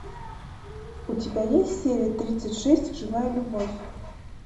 у тебя есть серия тридцать шесть живая любовь